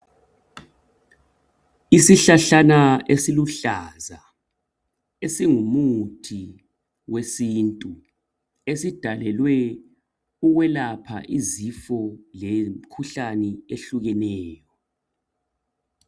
Isihlahlana esiluhlaza esingumuthi wesintu esidalelwe ukwelapha izifo lemkhuhlane ehlukeneyo